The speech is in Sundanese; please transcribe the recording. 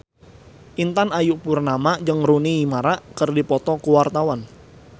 Intan Ayu Purnama jeung Rooney Mara keur dipoto ku wartawan